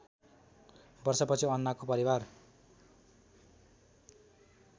वर्षपछि अन्नाको परिवार